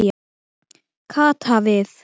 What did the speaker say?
Kata við.